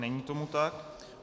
Není tomu tak.